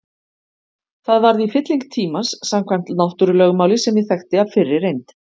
Það varð í fylling tímans samkvæmt náttúrulögmáli sem ég þekkti af fyrri reynd.